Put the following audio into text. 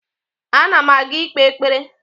Ana m aga ikpe ekpere